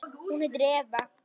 Hún heitir Eva.